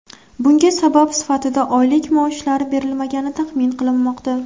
Bunga sabab sifatida oylik maoshlari berilmagani taxmin qilinmoqda.